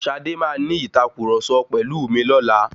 Ṣadé máa ní ìtàkurọ̀sọ pẹ̀lú mi lọlá.